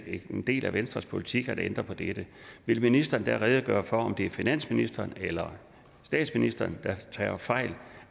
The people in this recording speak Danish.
en del af venstres politik at ændre på det vil ministeren da redegøre for om det er finansministeren eller statsministeren der tager fejl